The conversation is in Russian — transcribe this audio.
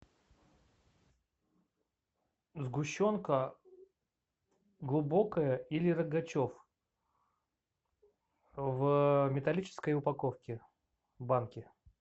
сгущенка глубокая или рогачев в металлической упаковке банке